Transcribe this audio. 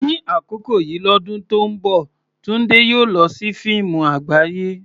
Ní àkókò yìí lọ́dún tó ń bọ̀, Tunde yóò lọ sí fíìmù àgbáyé.